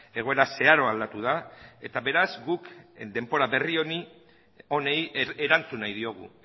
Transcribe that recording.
egoera zeharo aldatu da eta beraz guk denbora berri honi erantzun nahi diogu